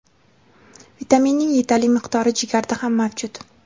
vitaminning yetarli miqdori jigarda ham mavjud.